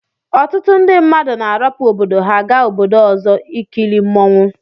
Ọtụtụ ndi mmadụ na arapu obodo ha ga obodo ọzọ ikili mụọnwụ